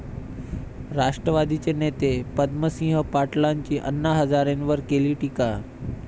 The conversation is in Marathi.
राष्ट्रवादीचे नेते पद्मसिंह पाटलांची अण्णा हजारेंवर केली टीका